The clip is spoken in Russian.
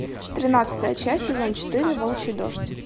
тринадцатая часть сезон четыре волчий дождь